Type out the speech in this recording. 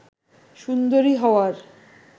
সুন্দরী হওয়ার